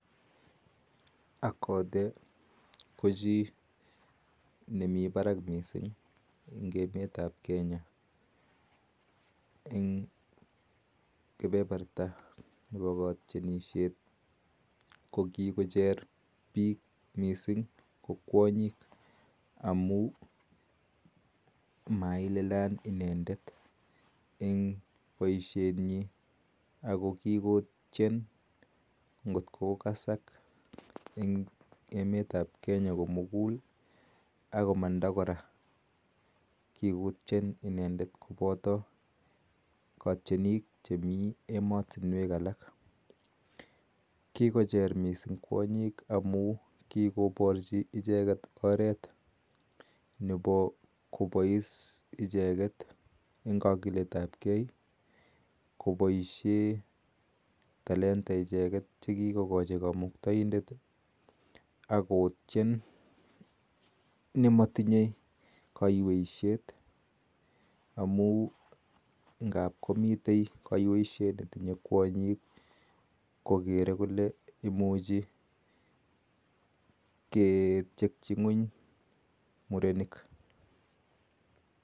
Akothee kochii nemii parak mising eng emet ap kenyaa amun kepeperta ap kwanyik missing amun maililiany indndet eng poishet nyii ako kikotient kotko kasak eng emet nepo kenya komugul kikochere missing kwanyik eng kakilet ap kee kopaishen icheget telta ako matkosich kaiyweiset